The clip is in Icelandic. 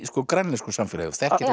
grænlensku samfélagi